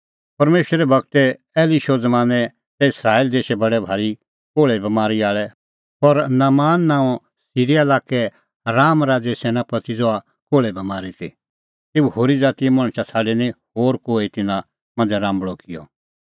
परमेशरे गूर एलीशे ज़मानैं तै इस्राएला देशै बडै भारी कोल़्हे बमारी आल़ै पर नामान नांओंए सिरीया लाक्के राआम राज़ैए सैनापति ज़हा कोल़्हे बमारी ती तेऊ होरी ज़ातीए मणछा छ़ाडी निं होर कोहै तिन्नां मांझ़ै राम्बल़अ किअ